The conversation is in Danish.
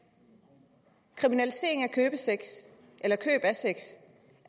kriminalisering af køb af sex